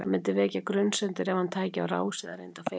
Það myndi vekja grunsemdir ef hann tæki á rás eða reyndi að fela sig.